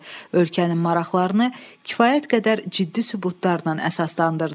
Ölkənin maraqlarını kifayət qədər ciddi sübutlarla əsaslandırdı.